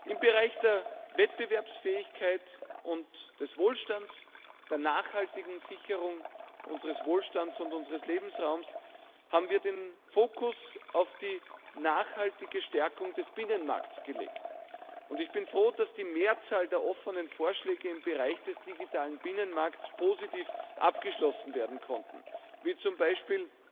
Im Bereich der Wettbewerbsfähigkeit und des Wohlstands, der nachhaltigen Sicherung unseres Wohlstands und unseres Lebensraums, haben wir den Fokus auf die nachhaltige Stärkung des Binnenmarktes gelegt. Ich bin froh, dass die Mehrzahl der offenen Vorschläge im Bereich des digitalen Binnenmarkts positiv abgeschlossen werden konnte, wie zum Beispiel